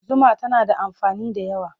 Zuma tana da amfani da yawa.